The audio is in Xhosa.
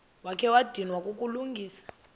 wakha wadinwa kukulungisa